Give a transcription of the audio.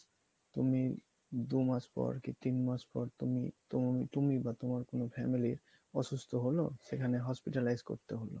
তুমি দু মাস পর কি তিন মাস পর তুমি তুমি বা তোমার কোনো family অসুস্থ হলো সেখানে hospitalize করতে হবে